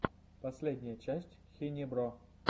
последняя часть хинебро